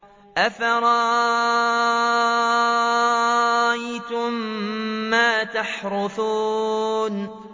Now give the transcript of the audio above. أَفَرَأَيْتُم مَّا تَحْرُثُونَ